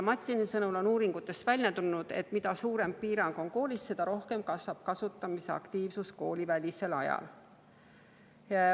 Matsini sõnul on uuringutest välja tulnud, et mida piirang koolis on, seda rohkem kasvab kasutamisaktiivsus koolivälisel ajal.